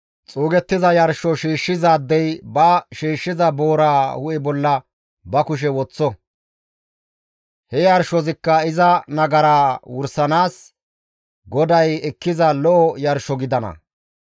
Xuugettiza yarsho shiishshizaadey ba shiishshiza booraa hu7e bolla ba kushe woththo; he yarshozikka iza nagaraa wursanaas GODAY ekkiza lo7o yarsho gidana.